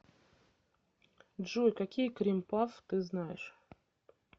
джой какие крим пафф ты знаешь